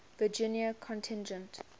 virginia contingent